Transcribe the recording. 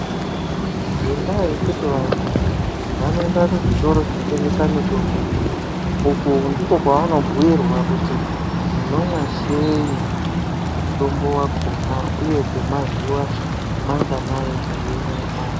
Ngendaa yekuti vantu vanoenda kuzvitoro zvinotengesa mitombo, uku ndiko kwavanobhuyirwa kuti munomwa sei mutombo wakona, uye kwemazuwa manganayi meyiumwa.